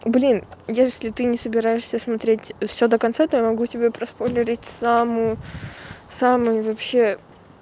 блин если ты не собираешься смотреть все до конца то я могу тебе проспойлерить самую-самую вообще